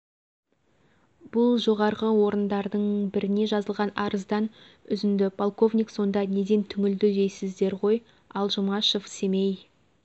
бұл жоғарғы орындардың біріне жазылған арыздан үзінді полковник сонда неден түңілді дейсіздер ғой ал жұмашев семей